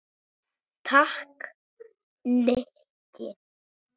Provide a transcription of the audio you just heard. Takk, Nikki